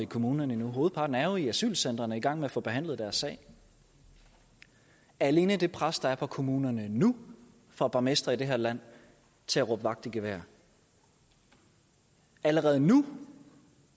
kommunerne endnu hovedparten er jo i asylcentrene i gang med at få behandlet deres sag alene det pres der er på kommunerne nu får borgmestre i det her land til at råbe vagt i gevær allerede nu